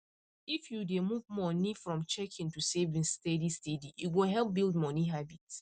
if you dey move money from checking to savings steady steady e go help build money habit